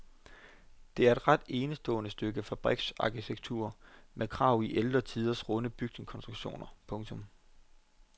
Det er et ret enestående stykke fabriksarkitektur med arv i ældre tiders runde bygningskonstruktioner. punktum